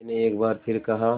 मैंने एक बार फिर कहा